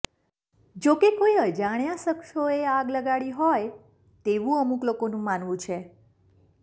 જોકે કોઇ અજાણ્યા શખ્સોએ આગ લગાડી હોય તેવુ અમુક લોકોનું માનવું છે